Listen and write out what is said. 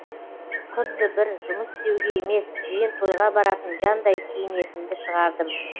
құдды бір жұмыс істеуге емес жиын тойға баратын жандай киінетінді шығардым